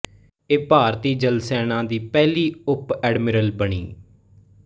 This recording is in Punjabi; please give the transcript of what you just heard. ਇਹ ਭਾਰਤੀ ਜਲ ਸੇਨਾ ਦੀ ਪਹਿਲੀ ਉਪ ਐਡਮਿਰਲ ਬਣੀ